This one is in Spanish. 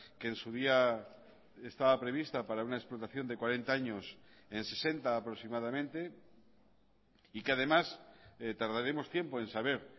que en su día estaba prevista para una explotación de cuarenta años en sesenta aproximadamente y que además tardaremos tiempo en saber